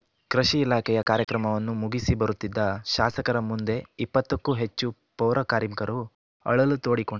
ಕೃಷಿ ಇಲಾಖೆಯ ಕಾರ್ಯಕ್ರಮವನ್ನು ಮುಗಿಸಿ ಬರುತ್ತಿದ್ದ ಶಾಸಕರ ಮುಂದೆ ಇಪ್ಪತ್ತು ಕ್ಕೂ ಹೆಚ್ಚು ಪೌರಕಾರ್ಮಿಕರು ಅಳಲು ತೋಡಿಕೊಂ